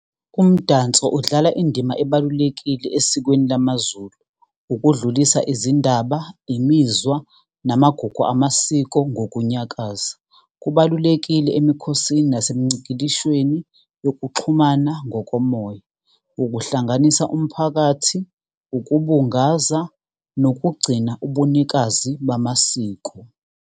Umdanso udlala indima ebalulekile esikweni lamaZulu, ukudlulisa izindaba, imizwa, namagugu amasiko nokunyakaza. Kubalulekile emikhosini nasemicikishweni yokuxhumana ngokomoya, ukuhlanganisa umphakathi, ukubungaza, nokugcina ubunikazi bamasiko.